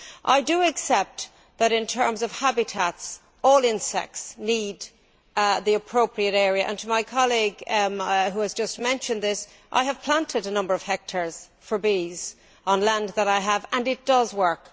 I do accept that in terms of habitats all insects need the appropriate area and, to my colleague who has just mentioned this, I have planted a number of hectares for bees on land that I have, and it does work.